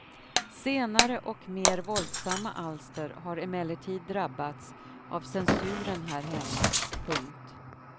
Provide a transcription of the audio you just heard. Senare och mer våldsamma alster har emellertid drabbats av censuren här hemma. punkt